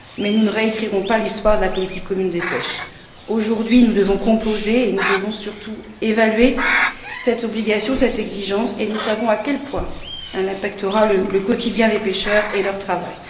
Nous ne réécrirons pas l'histoire de la politique commune de la pêche. Aujourd'hui, nous devons composer et nous devons, surtout, évaluer cette obligation, cette exigence, et nous savons à quel point elle pèsera sur le quotidien des pêcheurs et sur leur travail.